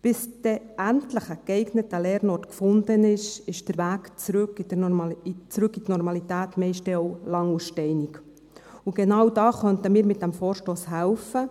Bis dann endlich ein geeigneter Lernort gefunden ist, ist der Weg zurück in die Normalität meist dann auch lang und steinig, und genau da könnten wir mit diesem Vorstoss helfen.